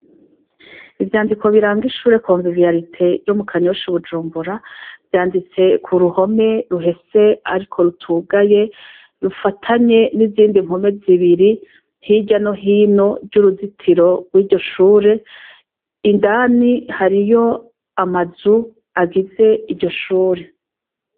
Ivyandiko biranga ishure komviviarite yo mu kanyosha ubujumbura vyanditse ku ruhome ruhese, ariko rutugaye rufatanye n'izindi mpome zibiri ntirya no hino ry'uruzitiro rw'iryo shure indani hariyo amazu agize iryohe shure.